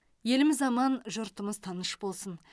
еліміз аман жұртымыз тыныш болсын